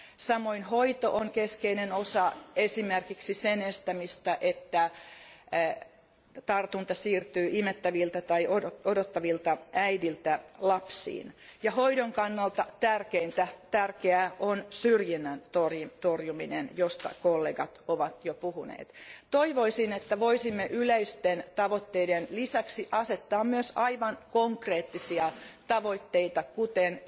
Samoin hoito on keskeinen osa esimerkiksi sen estämistä, että tartunta siirtyy imettäviltä tai odottavilta äideiltä lapsiin, ja hoidon kannalta tärkeää on syrjinnän torjuminen, josta kollegat ovat jo puhuneet. Toivoisin, että voisimme yleisten tavoitteiden lisäksi asettaa myös aivan konkreettisia tavoitteita, kuten